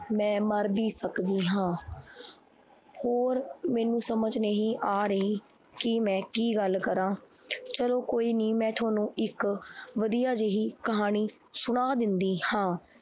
ਮੈਂ ਮਰ ਵੀ ਸਕਦੀ ਹਾਂ ਹੋਰ ਮੈਨੂੰ ਸਮਝ ਨਹੀਂ ਆ ਰਹੀ ਕਿ ਮੈਂ ਕੀ ਗੱਲ ਕਰਾਂ ਚਲੋ ਕੋਈ ਨੀ ਮੈਂ ਤੁਹਾਨੂੰ ਇੱਕ ਵਧੀਆ ਜਿਹੀ ਕਹਾਣੀ ਸੁਣਾ ਦਿੰਦੀ ਹਾਂ।